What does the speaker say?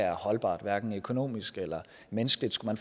er holdbart hverken økonomisk eller menneskeligt skulle